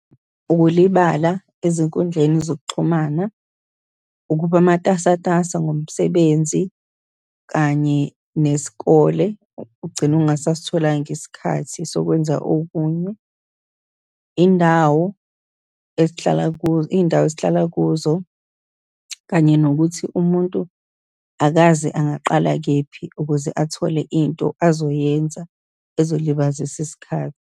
Ukulibala ezinkundleni zokuxhumana, ukuba matasatasa ngomsebenzi kanye, nesikole, ugcine ungasasitholanga isikhathi sokwenza okunye, iy'ndawo esihlala iy'ndawo esihlala kuzo, kanye nokuthi umuntu akazi angaqala kephi ukuze athole into azoyenza ezolibazisa isikhathi.